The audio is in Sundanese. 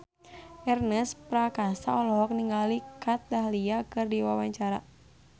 Ernest Prakasa olohok ningali Kat Dahlia keur diwawancara